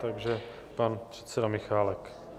Takže pan předseda Michálek.